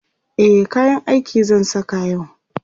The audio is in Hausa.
e kayan aiki zan Saka yau